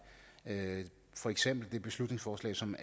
for eksempel det beslutningsforslag som